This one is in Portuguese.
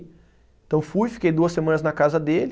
Então fui, fiquei duas semanas na casa dele.